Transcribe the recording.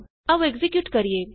ਆਉ ਐਕਜ਼ੀਕਿਯੂਟ ਕਰੀਏ